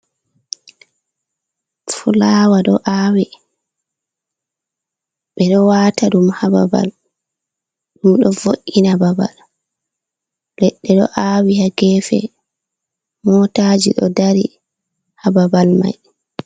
Fulaawa ɗo aawi, ɓe ɗo wata ɗum haa babal ɗum ɗo vo’’ina babal. Ledɗɗe ɗo aawi haa geefe mootaaji ɗo dari haa babal may.